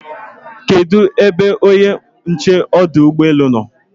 kedu ebe onye nche ọdụ ụgbọ elu nọ?